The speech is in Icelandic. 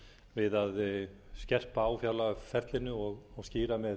við að skerpa á fjárlagaferlinu og skýra með